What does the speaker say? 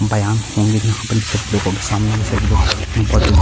बयान होंगे यहाँ पर सभी लोगों के सामने ये सभी लोग बहुत ही --